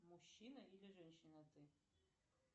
мужчина или женщина ты